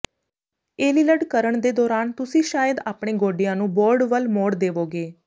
ਏਲੀਲਡ ਕਰਣ ਦੇ ਦੌਰਾਨ ਤੁਸੀਂ ਸ਼ਾਇਦ ਆਪਣੇ ਗੋਡਿਆਂ ਨੂੰ ਬੋਰਡ ਵੱਲ ਮੋੜ ਦੇਵੋਗੇ